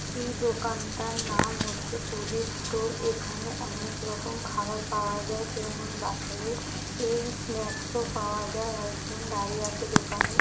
এই দোকানটার নাম হচ্ছে প্রদীপ স্টোর এখানে অনেক রকম খাবার পাওয়া যায় যেমন বাচ্চাদের স্নাক্স ও পাওয়া যায় একজন দাঁড়িয়ে আছে দোকানে।